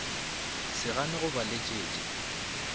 se gane go ba leletša